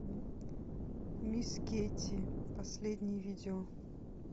мисс кейти последнее видео